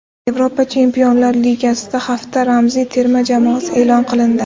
Yevropa Chempionlar Ligasida hafta ramziy terma jamoasi e’lon qilindi !